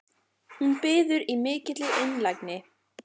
Hún biður í mikilli einlægni